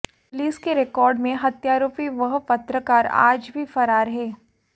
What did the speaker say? police के record में हत्यारोपी वह पत्रकार आज भी फरार है